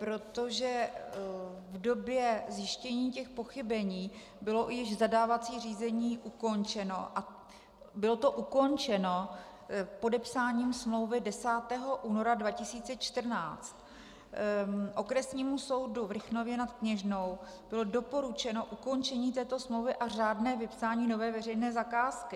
Protože v době zjištění těch pochybení bylo již zadávací řízení ukončeno a bylo to ukončeno podepsáním smlouvy 10. února 2014, Okresnímu soudu v Rychnově nad Kněžnou bylo doporučeno ukončení této smlouvy a řádné vypsání nové veřejné zakázky.